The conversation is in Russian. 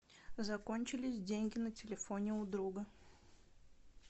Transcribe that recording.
закончились деньги на телефоне у друга